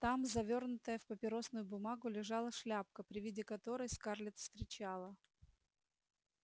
там завёрнутая в папиросную бумагу лежала шляпка при виде которой скарлетт вскричала